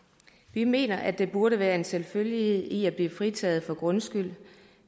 vi mener at der burde være en selvfølgelighed i at blive fritaget for grundskyld